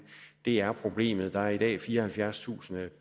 det er problemet der er i dag fireoghalvfjerdstusind